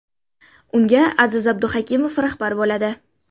Unga Aziz Abduhakimov rahbar bo‘ladi.